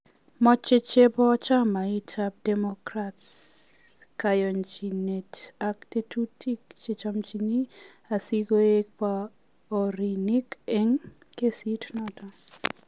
Mache chebo chamait ab democrats kayanjinet ak tetutik kechomnji asikoig paorinik en kesit noton